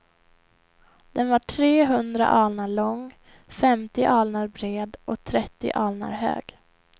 Den var tre hundra alnar lång, femtio alnar bred och trettio alnar hög.